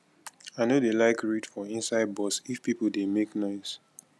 i no dey like read for inside bus if pipo dey make noise